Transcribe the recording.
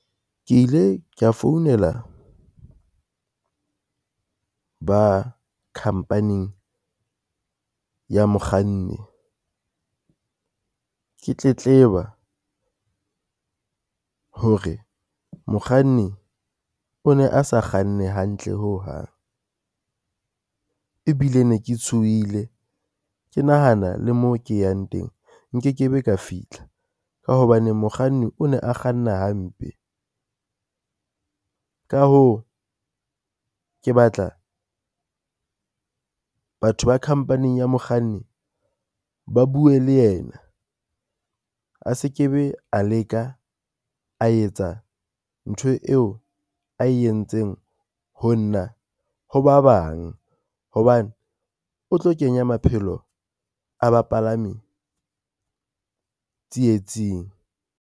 Ke ile kea founela ba khampaning ya mokganni, ke tletleba hore mokganni o ne a sa kganne hantle ho hang, ebile ne ke tshohile ke nahana le mo ke yang teng nkekebe ka fitlha ka hobaneng mokganni o ne a kganna hampe. Ka hoo, ke batla batho ba khampaning ya mokganni ba bue le yena a se ke be a leka a etsa ntho eo a entseng ho nna, ho ba bang hobane o tlo kenya maphelo a bapalami tsietsing.